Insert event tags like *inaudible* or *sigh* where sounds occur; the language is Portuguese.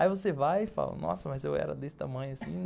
Aí você vai e fala, nossa, mas eu era desse tamanho assim, não... *laughs*